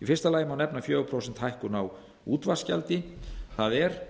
í fyrsta lagi má nefna fjögur prósent hækkun á útvarpsgjaldi það er